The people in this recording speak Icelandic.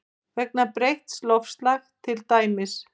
Vegna breytts loftslags til dæmis?